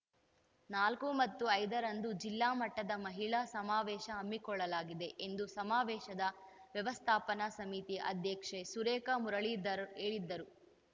ನಾಲ್ಕು ಮತ್ತು ಐದರಂದು ಜಿಲ್ಲಾ ಮಟ್ಟದ ಮಹಿಳಾ ಸಮಾವೇಶ ಹಮ್ಮಿಕೊಳ್ಳಲಾಗಿದೆ ಎಂದು ಸಮಾವೇಶದ ವ್ಯವಸ್ಥಾಪನಾ ಸಮಿತಿ ಅಧ್ಯಕ್ಷೆ ಸುರೇಖಾ ಮುರಳೀಧರ್‌ ಹೇಳಿದರು